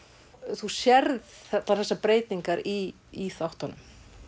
þú sérð allar þessar breytingar í þáttunum